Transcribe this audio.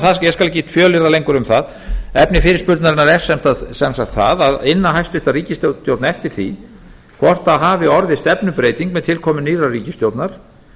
skal ekki fjölyrða lengur um það efni fyrirspurnarinnar er sem sagt það að inna hæstvirt ríkisstjórn eftir því hvort það hafi orðið stefnubreyting með tilkomu nýrrar ríkisstjórnar